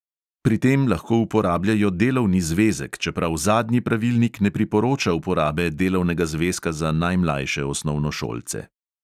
Pri tem lahko uporabljajo delovni zvezek, čeprav zadnji pravilnik ne priporoča uporabe delovnega zvezka za najmlajše osnovnošolce.